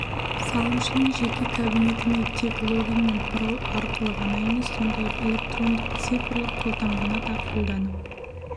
салымшының жеке кабинетіне тек логин мен пароль арқылы ғана емес сондай-ақ электрондық-цифрлық қолтаңбаны да қолданып